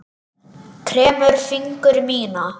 Kremur fingur mína.